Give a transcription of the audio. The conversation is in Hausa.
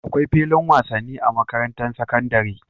Akwai filin wasan ni a makarantar sakandari